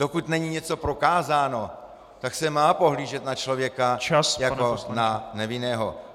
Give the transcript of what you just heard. Dokud není něco prokázáno, tak se má pohlížet na člověka jako na nevinného.